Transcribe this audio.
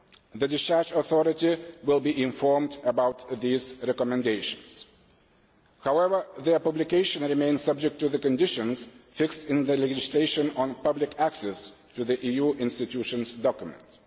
The discharge authority will be informed about these recommendations. However, their publication remains subject to the conditions set in the legislation on public access to the EU institutions' documents.